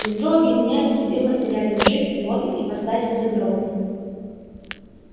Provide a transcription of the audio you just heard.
метро объединяет в себе материальную жизнь и обе ипостаси загробной